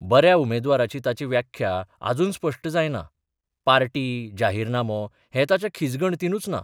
बऱ्या उमेदवाराची ताची व्याख्या अजून स्पश्ट जायना पार्टी, जाहीरनामो हें ताच्या खिजगणतींतूच ना.